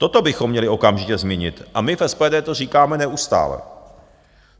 Toto bychom měli okamžitě změnit a my v SPD to říkáme neustále.